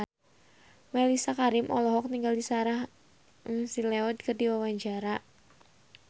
Mellisa Karim olohok ningali Sarah McLeod keur diwawancara